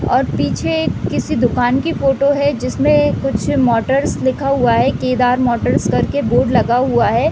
और पीछे एक किसी दुकान की फोटो है जिसमे कुछ मोटर्स लिखा हुआ है केदार मोटर्स कर के बोर्ड लगा हुआ है।